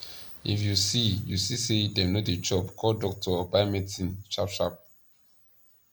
if u see u see say dem no dey chop call doctor or buy medicine sharp sharp